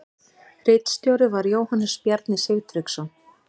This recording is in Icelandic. Ritstjóri var Jóhannes Bjarni Sigtryggsson.